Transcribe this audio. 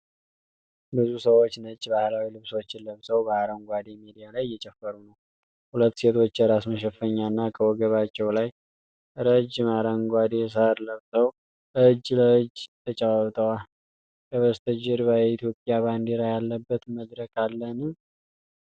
ብዙ ሰዎች ነጭ ባህላዊ ልብሶችን ለብሰው በአረንጓዴ ሜዳ ላይ እየጨፈሩ ነው። ሁለት ሴቶች የራስ መሸፈኛና ከወገባቸው ላይ ረጅም አረንጓዴ ሣር ለብሰው እጅ ለእጅ ተጨባብጠዋል። ከበስተጀርባ የኢትዮጵያ ባንዲራ ያለበት መድረክ አለን?